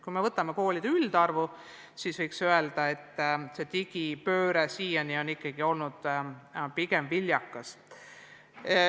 Kui vaatame koolide üldarvu, siis võime öelda, et pigem on meie digipööre olnud siiani ikkagi viljakas.